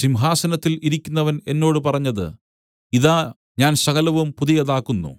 സിംഹാസനത്തിൽ ഇരിക്കുന്നവൻ എന്നോട് പറഞ്ഞത് ഇതാ ഞാൻ സകലവും പുതിയതാക്കുന്നു